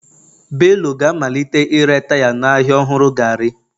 Bello ga-amalite ire taya n'ahịa ọhụrụ gari.